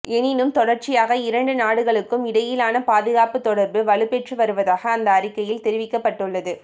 எனினும் தொடர்ச்சியாக இரண்டு நாடுகளுக்கும் இடையிலான பாதுகாப்பு தொடர்பு வலுப்பெற்று வருவதாக அந்த அறிக்கையில் தெரிவிக்கப்பட்டுள்ளது